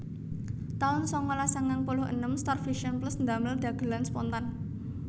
taun sangalas sangang puluh enem StarVision Plus ndamel dhagelan Spontan